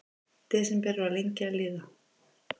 Desember var lengi að líða.